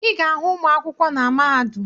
Ị ga-ahụ ụmụ akwụkwọ na mahadum